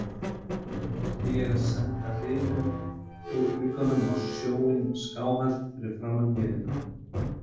Átti ég að senda hrinu úr glugganum á sjóinn skáhallt fyrir framan vélina